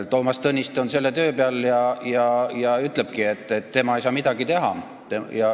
Toomas Tõniste on nüüd selle töö peal ja ütlebki, et tema ei saa midagi teha.